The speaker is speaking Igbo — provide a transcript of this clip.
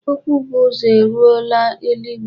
Okwu bu uzo eruola eluigwe.